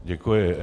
Děkuji.